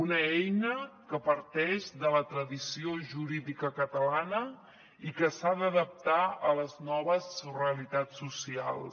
una eina que parteix de la tradició jurídica catalana i que s’ha d’adaptar a les noves realitats socials